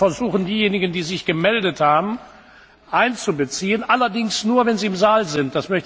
Wir werden versuchen, diejenigen, die sich gemeldet haben, einzubeziehen, allerdings nur, wenn sie im Saal sind.